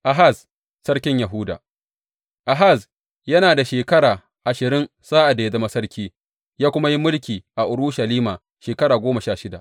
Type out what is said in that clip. Ahaz sarkin Yahuda Ahaz yana da shekara ashirin sa’ad da ya zama sarki, ya kuma yi mulki a Urushalima shekara goma sha shida.